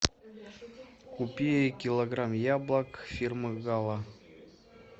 купи килограмм яблок фирмы гала